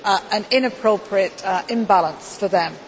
an inappropriate imbalance for them.